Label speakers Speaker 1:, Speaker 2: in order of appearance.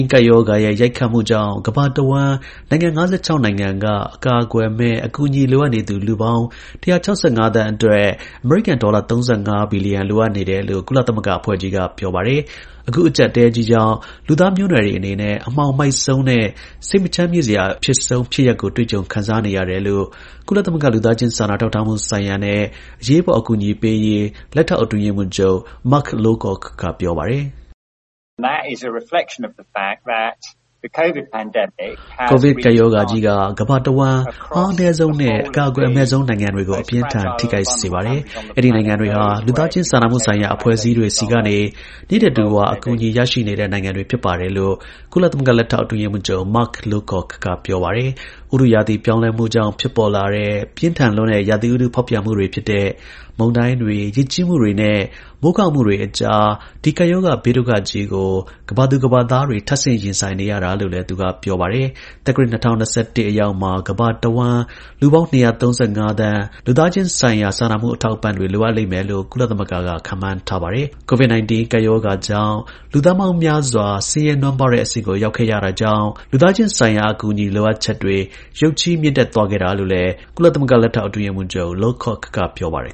Speaker 1: ကပ်ရောဂါရဲ့ ရိုက်ခတ်မှုကြောင့် ကမ္ဘာတစ်ဝှမ်း နိုင်ငံ ၅၆ နိုင်ငံက အကာအကွယ်မဲ့ အကူအညီ လိုအပ်နေသူ လူပေါင်း ၁၆၅ သန်းအတွက် အမေရိကန် ဒေါ်လာ ၃၅ ဘီလီယံ လိုအပ်နေတယ်လို့ ကုလသမဂ္ဂ အဖွဲ့ကြီးက ပြောပါတယ်။ အခု အကျပ်အတည်းကြီးကြောင့် လူသားမျိုးနွယ်တွေအနေနဲ့ အမှောင်မိုက်ဆုံးနဲ့ စိတ်မချမ်းမြေ့စရာ အဖြစ်ဆုံး ဖြစ်ရပ်ကိုတွေ့ကြုံ ခံစားနေရတယ်လို့ ကုလသမဂ္ဂလူသားချင်း စာနာထောက်ထားမှုဆိုင်ရာနဲ့အရေးပေါ်အကူအညီပေးရေး လက်ထောက် အတွင်း ရေးမှူးချုပ် Mark Lowcock က ပြောပါတယ်။
Speaker 2: “COVID ကပ်ရောဂါကြ
Speaker 1: ီးက ကမ္ဘာတစ်ဝှမ်း အားအနည်းဆုံးနဲ့ အကာအကွယ် အမဲ့ဆုံးနိုင်ငံတွေကို အပြင်းအထန် ထိခိုက်စေပါတယ်။ အဲဒီနိုင်ငံတွေဟာ လူသားချင်း စာနာမှုဆိုင်ရာ အဖွဲ့အစည်းတွေ နေ့တဓူဝ အကူအညီပေးနေရတဲ့ နိုင်ငံတွေ ဖြစ်ပါတယ်” လို့ ကုလ လက်ထောက် အတွင်း ရေးမှူးချုပ် Mark Lowcock က ပြောပါတယ်။ ဥတုရာသီ ပြောင်းလဲမှုကြောင့် ဖြစ်ပေါ်လာတဲ့ ပြင်းထန်လွန်းတဲ့ ရာသီဥတု ဖောက်ပြန်မှုတွေ ဖြစ်တဲ့ မုန်တိုင်းတွေ၊ ရေကြီးမှုတွေနဲ့ မိုးခေါင်မှုတွေအကြား ဒီ ကပ်ရောဂါ ဘေးဒုက္ခကြီးကို ကမ္ဘာသူ ကမ္ဘာသားတွေ ထပ်ဆင့် ရင်ဆိုင်နေရတာလည်း သူက ပြောပါတယ်။ သက္ကရာဇ် ၂၀၂၁ ခုနှစ် အရောက်မှာ ကမ္ဘာတစ်ဝှမ်း လူပေါင်း ၂၃၅ သန်း လူသားချင်းဆိုင်ရာ အထောက်အပံ့တွေ လိုအပ်လိမ့်မယ်လို့ ကုလသမဂ္ဂက ခန့်မှန်းထားတာပါ။ တစ်နှစ်ထဲမှာ ရာခိုင်နှုန်း ၄၀ တိုးမြင့်သွားတာ ဖြစ်ပါတယ်။ COVID 19 ကပ်ရောဂါကြောင့် လူသန်းပေါင်းများစွာ ဆင်းရဲနွမ်းပါးတဲ့အဆင့်ကို ရောက်ခဲ့ကြတာကြောင့် လူသားချင်းဆိုင်ရာ အကူအညီ လိုအပ်ချက်တွေ ရုတ်ချည်း မြင့်တက်သွားခဲ့တာလို့လည်း ကုလ လက်ထောက် အတွင်း ရေးမှူးချုပ် Mark Lowcock က ပြောပါတယ်